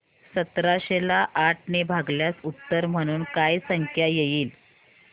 सतराशे ला आठ ने भागल्यास उत्तर म्हणून काय संख्या येईल